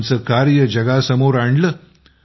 आमचे कार्य जगासमोर आणले